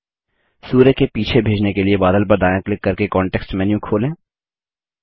सूर्य के पीछे भेजने के लिए बादल पर दायाँ क्लिक करके कॉन्टेक्स्ट मेन्यू खोलें